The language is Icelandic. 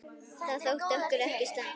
Það þótti okkur ekki slæmt.